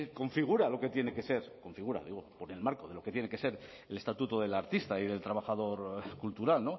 configura lo que tiene que ser configura digo con el marco de lo que tiene que ser el estatuto del artista y del trabajador cultural